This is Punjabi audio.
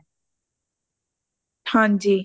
ਹਾਂਜੀ